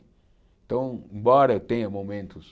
Então, embora eu tenha momentos...